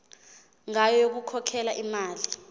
ngayo yokukhokhela imali